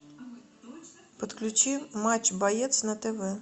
подключи матч боец на тв